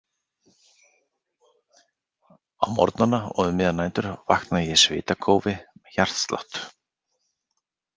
Á morgnana og um miðjar nætur vakna ég í svitakófi, með hjartslátt.